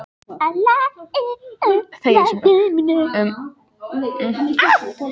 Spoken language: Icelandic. Sóttum við ekki sjóinn fast og færðum mikla björg í bú?